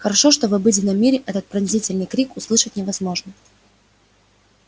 хорошо что в обыденном мире этот пронзительный крик услышать невозможно